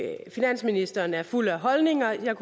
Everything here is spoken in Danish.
ikke finansministeren er fuld af holdninger det